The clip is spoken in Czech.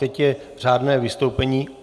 Teď je řádné vystoupení.